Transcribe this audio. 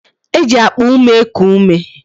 E ji akpa ume eku ume